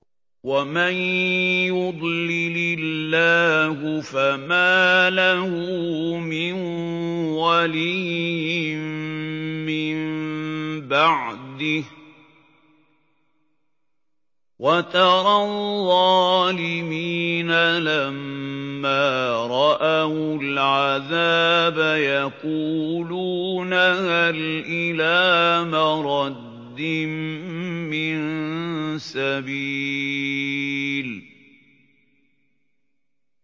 وَمَن يُضْلِلِ اللَّهُ فَمَا لَهُ مِن وَلِيٍّ مِّن بَعْدِهِ ۗ وَتَرَى الظَّالِمِينَ لَمَّا رَأَوُا الْعَذَابَ يَقُولُونَ هَلْ إِلَىٰ مَرَدٍّ مِّن سَبِيلٍ